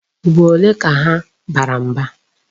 Ugboro ole ka ha bara mba?